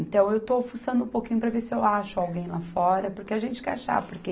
Então, eu estou fuçando um pouquinho para ver se eu acho alguém lá fora, porque a gente quer achar, porque